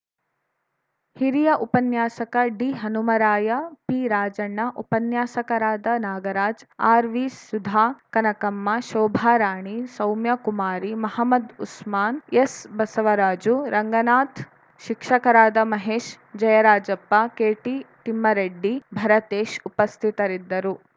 ಹಿರಿಯ ಉಪನ್ಯಾಸಕ ಡಿಹನುಮರಾಯ ಪಿರಾಜಣ್ಣ ಉಪನ್ಯಾಸಕರಾದ ನಾಗರಾಜ್‌ ಆರ್‌ವಿ ಸುಧಾ ಕನಕಮ್ಮ ಶೋಭಾರಾಣಿ ಸೌಮ್ಯಕುಮಾರಿ ಮಹಮದ್‌ ಉಸ್ಮಾನ್‌ ಎಸ್‌ಬಸವರಾಜು ರಂಗನಾಥ್‌ ಶಿಕ್ಷಕರಾದ ಮಹೇಶ್‌ ಜಯರಾಜಪ್ಪ ಕೆಟಿ ತಿಮ್ಮಾರೆಡ್ಡಿ ಭರತೇಶ್‌ ಉಪಸ್ಥಿತರಿದ್ದರು